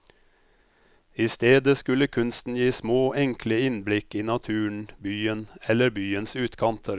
I stedet skulle kunsten gi små, enkle innblikk i naturen, byen eller byens utkanter.